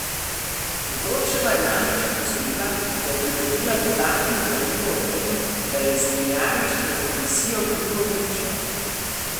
Godčeva je namreč opozorila, da je pridobila dodatno gradivo o tem, da je Zemljarič pred komisijo krivo pričal.